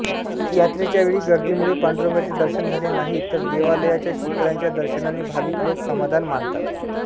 यात्रेच्या वेळी गर्दीमुळे पांडुरंगाचे दर्शन झाले नाही तर देवालयाच्या शिखराच्या दर्शनाने भाविक लोक समाधान मानतात